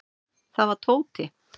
Það var Tóti.